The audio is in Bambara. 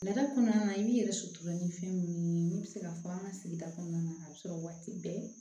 Nɛgɛ kɔnɔna i yɛrɛ sutura ni fɛn minnu ye min bɛ se ka fɔ an ka sigida kɔnɔna na a bɛ sɔrɔ waati bɛɛ